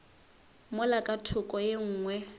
mola ka thoko ye nngwe